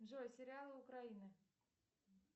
джой сериалы украины